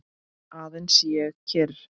Aðeins ég er kyrr.